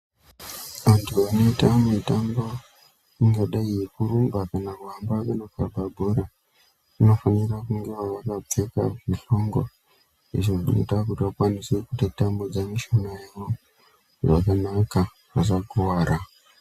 Antu anoita mutambo ingadai yekurumba kana kuhamba kunokaba bhora anofanire kungewo vakapfeka zvihlongo izvo zvinoita kuti vakwanise kutatamudza mushuna yawo zcakanaka vasakuwara.